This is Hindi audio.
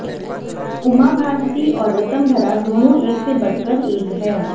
उमा भारती और ऋतंभरा दोनों एक से बढ़कर एक हैं